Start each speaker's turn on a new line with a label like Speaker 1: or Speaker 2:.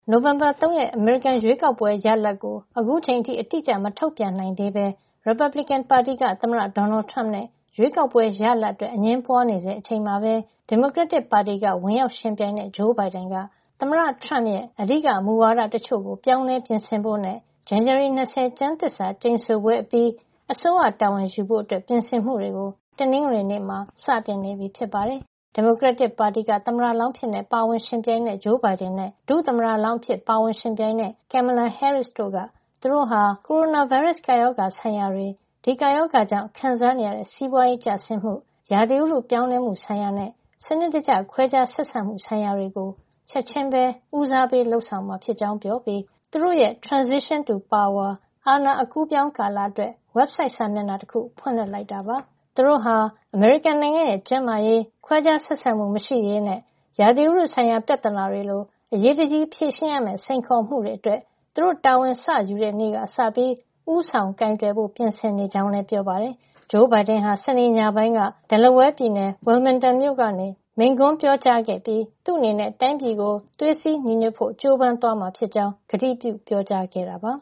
Speaker 1: နိုဝင်ဘာ ၃ ရက် အမေရိကန်ရွေးကောက်ပွဲ ရလဒ်ကို အခုအချိန်အထိ အတိအကျ မထုတ်ပြန်နိုင်သေးဘဲ ရီပတ်ဘလစ်ကန်ပါတီက သမ္မတ Donald Trump နဲ့ ရွေးကောက်ပွဲရလဒ်အတွက် အငြင်းပွားနေဆဲ အချိန်မှာပဲ ဒီမိုကရက်တစ်ပါတီက ဝင်ရောက်ယှဉ်ပြိုင်တဲ့ Joe Biden က သမ္မတ Trump ရဲ့ အဓိကမူဝါဒတချို့ကို ပြောင်းလဲပြင်ဆင်ဖို့နဲ့ ဇန်နဝါရီ ၂၀ ကျမ်းသစ္စာကျိန်ဆိုပွဲအပြီး အစိုးရတာဝန်ယူဖို့အတွက် ပြင်ဆင်မှုတွေကို တနင်္ဂနွေနေ့မှာ စတင်နေပြီ ဖြစ်ပါတယ်။ ဒီမိုကရက်တစ်ပါတီက သမ္မတလောင်းအဖြစ် ပါဝင်ယှဉ်ပြိုင်တဲ့ Joe Biden နဲ့ ဒုသမ္မတလောင်းအဖြစ် ပါဝင်ယှဉ်ပြိုင်တဲ့ Kamala Harris တို့က သူတို့ဟာ ကိုရိုနာဗိုင်းရပ်စ် ကပ်ရောဂါဆိုင်ရာတွေ၊ ဒီကပ်ရောဂါကြောင့် ခံစားနေရတဲ့ စီးပွားရေးကျဆင်းမှု၊ ဥတုရာသီ ပြောင်းလဲမှုဆိုင်ရာနဲ့ စနစ်တကျ ခွဲခြားဆက်ဆံမှု ဆိုင်ရာတွေကို ချက်ချင်းပဲ ဦးစားပေး လုပ်ဆောင်မှာဖြစ်ကြောင်း ပြောပြီး သူတို့ရဲ့ Transition to Power လို့ခေါ်တဲ့ အာဏာအကူးအပြောင်း ကာလအတွက် ဝက်ဘ်ဆိုက် စာမျက်နှာတခု ဖွင့်လိုက်တာပါ။ သူတို့ဟာ အမေရိကန်နိုင်ငံရဲ့ ကျန်းမာရေး၊ ခွဲခြားဆက်ဆံမှု မရှိရေးနဲ့ ဥတုရာသီဆိုင်ရာ ပြဿနာတွေလို အရေးတကြီးဖြေရှင်းရမယ့် စိန်ခေါ်မှုတွေအတွက် သူတို့တာဝန်စယူတဲ့ နေ့ကကစပြီး ဦးဆောင်ကိုင်တွယ်ဖို့ ပြင်ဆင်နေကြောင်း ပြောပါတယ်။ Joe Biden ဟာ စနေနေ့ညပိုင်းက Delaware ပြည်နယ် Wilmington မြို့ကနေ မိန့်ခွန်းပြောကြားခဲ့ပြီး သူ့အနေနဲ့ တိုင်းပြည်ကို သွေးစည်းညီညွတ်ဖို့ ကြိုးပမ်းသွားမှာဖြစ်ကြောင်း ကတိပြုပြောကြားခဲ့ပါ